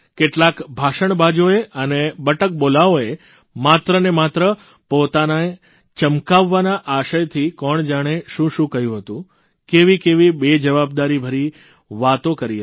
કેટલાંક ભાષણબાજોએ અને બટકબોલાઓએ માત્રને માત્ર પોતાને ચમકાવવાના આશયથી કોણજાણે શું શું કહ્યું હતું કેવી કેવી બેજવાબદારીભરી વાતો કરી હતી